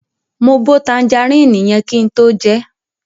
Mo bo tanjaríìnì yẹn kin tó jẹẹ́.